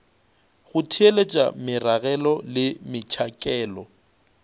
go theeletša meragelo le metšhakelo